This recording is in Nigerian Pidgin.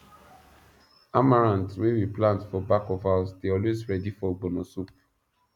amaranth wey we plant for back of house dey always ready for ogbono soup